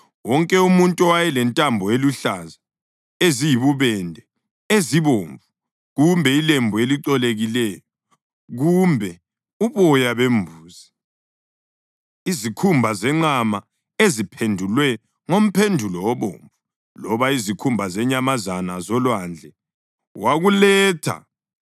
Wonke umuntu owayelentambo eziluhlaza, eziyibubende, ezibomvu kumbe ilembu elicolekileyo, kumbe uboya bembuzi, izikhumba zenqama eziphendulwe ngomphendulo obomvu loba izikhumba zenyamazana zolwandle wakuletha.